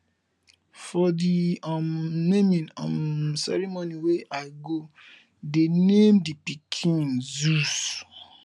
for the um naming um ceremony wey i go they name the pikin zeus